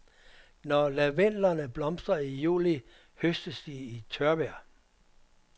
Når lavendlerne blomstrer i juli høstes de i tørvejr.